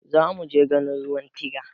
Zamuje ganin ruwan tiga